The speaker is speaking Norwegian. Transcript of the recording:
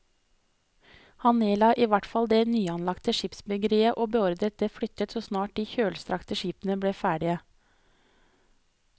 Han nedla i hvert fall det nyanlagte skipsbyggeriet og beordret det flyttet så snart de kjølstrakte skipene ble ferdige.